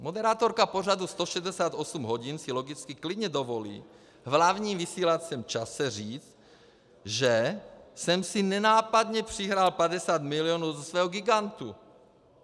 Moderátorka pořadu 168 hodin si logicky klidně dovolí v hlavním vysílacím čase říct, že jsem si nenápadně přihrál 50 milionů ze svého gigantu.